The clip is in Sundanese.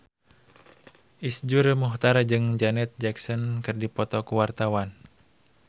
Iszur Muchtar jeung Janet Jackson keur dipoto ku wartawan